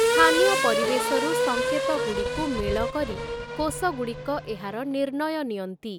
ସ୍ଥାନୀୟ ପରିବେଶରୁ ସଙ୍କେତଗୁଡ଼ିକୁ ମେଳକରି କୋଷଗୁଡ଼ିକ ଏହାର ନିର୍ଣ୍ଣୟ ନିଅନ୍ତି ।